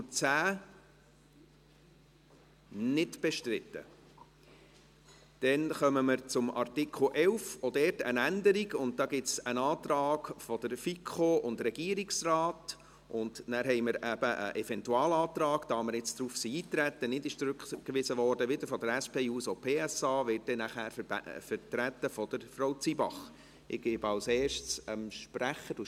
Danach haben wir, weil wir darauf eingetreten sind und keine Rückweisung stattfand, einen Eventualantrag vonseiten der SP-JUSO-PSA, welcher von Frau Zybach vertreten wird.